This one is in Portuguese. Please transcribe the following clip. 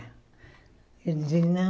Eu disse, não.